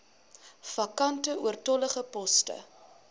vakante oortollige poste